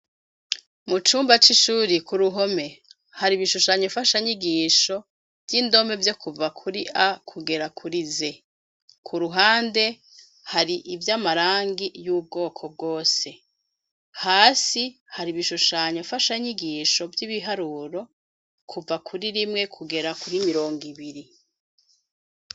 Mucumba c’ishure kuruhome har’ibishushanyo mfasha nyigisho vy’indome vyokuva kuri A kugera kuri Z, kuruhande har’ivyamarangi yubwoko bwose, hasi hari ibishushanyo mfasha nyigisho vyibiharuro kuva kuri rimwe kugera kuri mirongwibiri.